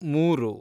ಮೂರು